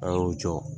An y'u jɔ